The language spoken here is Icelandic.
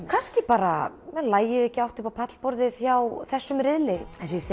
kannski bara lagið ekki átt upp á pallborðið hjá þessum riðli